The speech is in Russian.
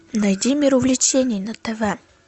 найди мир увлечений на тв